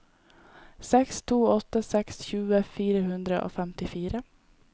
seks to åtte seks tjue fire hundre og femtifire